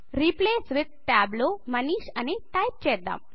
replace with tab లో మనీష్ అని type చేద్దాం